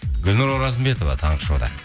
гүлнұр оразымбетова таңғы шоуда